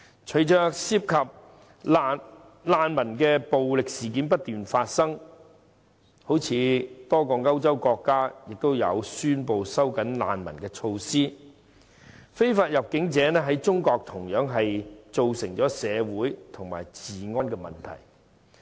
隨着涉及難民的暴力事件不斷發生，多個歐洲國家亦宣布收緊難民措施，非法入境者在中國同樣造成社會及治安問題。